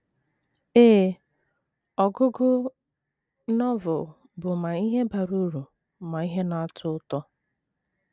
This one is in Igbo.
Ee, ọgụgụ Novel bụ ma ihe bara uru ma ihe na - atọ ụtọ.